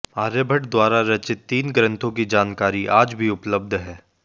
आर्यभट द्वारा रचित तीन ग्रंथों की जानकारी आज भी उपलब्ध है